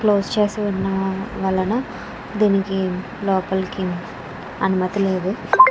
Close చేసి ఉన్నా వలన దీనికి లోపలికి అనుమతి లేదు.